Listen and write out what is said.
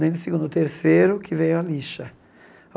Nem no segundo, o terceiro, que veio a lixa.